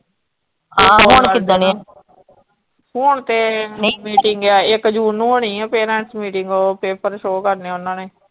ਆਹ ਹੁਣ ਕਿੱਦਣ ਹੈ, ਹੂਣ ਤੇ ਨਹੀਂ meeting ਆ ਇਕ ਜੂਨ ਨੂੰ ਹੋਣੀ ਆ ਫਿਰ parents meeting ਉਹ paper show ਕਰਨੇ ਓਹਨਾ ਨੇ।